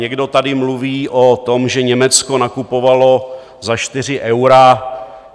Někdo tady mluví o tom, že Německo nakupovalo za 4 eura.